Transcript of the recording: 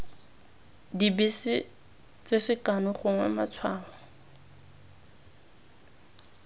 dibese tse sekano gongwe matshwao